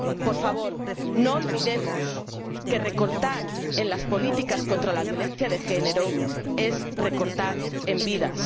Por favor, no olvidemos que recortar en las políticas contra la violencia de género es recortar en vidas.